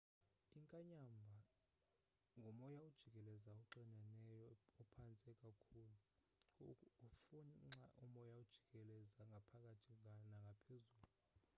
inkanyamba ngumoya ojikelezayo oxineneyo ophantsi kakhulu ufunxa umoya ojikeleze ngaphakathi nangaphezulu